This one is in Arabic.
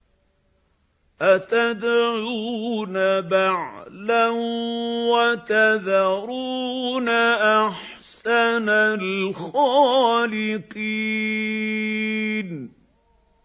أَتَدْعُونَ بَعْلًا وَتَذَرُونَ أَحْسَنَ الْخَالِقِينَ